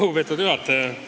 Lugupeetud juhataja!